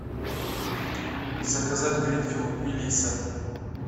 заказать гринфилд мелисса